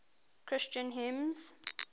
christian hymns